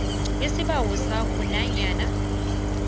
isibawo sakho nanyana